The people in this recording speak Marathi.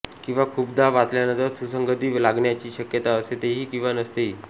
किंवा खूपदा वाचल्यानंतर सुसंगती लागण्याची शक्यता असतेही किंवा नसतेही